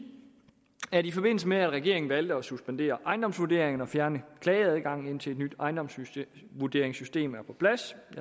at i forbindelse med at regeringen valgte at suspendere ejendomsvurderingerne og fjerne klageadgangen indtil et nyt ejendomsvurderingssystem er på plads